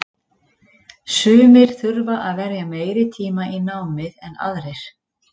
Sumir þurfa að verja meiri tíma í námið en aðrir.